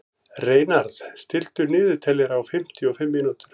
Reynarð, stilltu niðurteljara á fimmtíu og fimm mínútur.